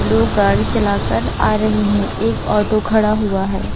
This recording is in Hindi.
लोग गाड़ी चलाकर आ रहे हैं एक ऑटो खड़ा हुआ है।